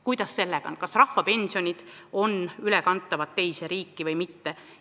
Kuidas sellega on, kas rahvapensionid on ülekantavad teise riiki või mitte?